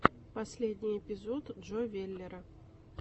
последний эпизод джо веллера